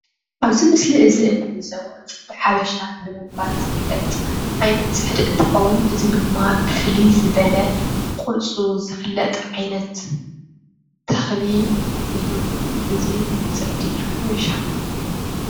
አብዚ ምስሊ እዚ እንዕዞቦ ፅሕዲ ሓበሽ ብምባል ዝፍለጥ ዓይነት ፅሕዲ እንትከውን እዚ ድማ ብፍልይ ዝበለ ቁሩፁ ዝፍለጥ ዓይነት ተክሊ እዩ እዚ ፅሕዲ ሓበሻ።